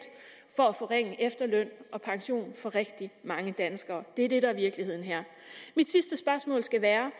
for at forringe efterløn og pension for rigtig mange danskere det er det der er virkeligheden her mit sidste spørgsmål skal være